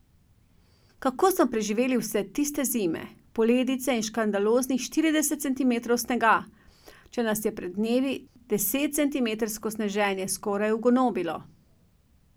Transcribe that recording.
Kako smo preživeli vse tiste zime, poledice in škandaloznih štirideset centimetrov snega, če nas je pred dnevi desetcentimetrsko sneženje skoraj ugonobilo?